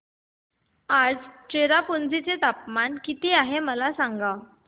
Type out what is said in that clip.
आज चेरापुंजी चे तापमान किती आहे मला सांगा